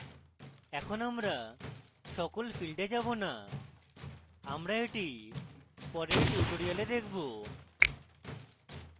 এখন আমরা সকল fields we যাবো now আমরা এটি পরের tutorials দেখবো